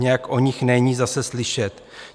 Nějak o nich není zase slyšet.